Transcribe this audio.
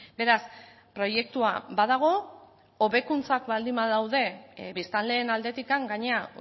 beraz proiektua badago hobekuntzak baldin badaude biztanleen aldetik gainera